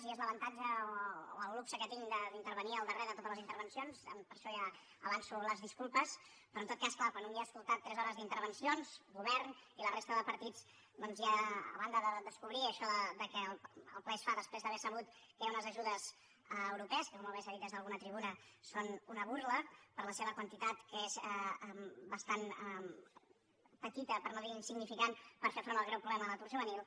i és l’avantatge o el luxe que tinc d’intervenir el darrer de totes les intervencions per això ja avanço les disculpes però en tot cas clar quan un ja ha escoltat tres hores d’intervencions govern i la resta de partits doncs ja a banda de descobrir això que el ple es fa després d’haver sabut que hi ha unes ajudes europees que com molt bé s’ha dit des d’alguna tribuna són una burla per la seva quantitat que és bastant petita per no dir insignificant per fer front al greu problema de l’atur juvenil